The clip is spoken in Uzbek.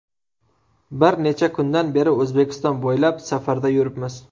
Bir necha kundan beri O‘zbekiston bo‘ylab safarda yuribmiz.